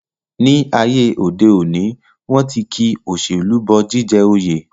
Ní ayé òde òní, wọ́n ti ki òṣèlú bọ jíjẹ oyè